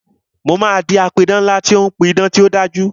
Mo máa di apidán ńlá tí ó ń pí idán tí ó dájú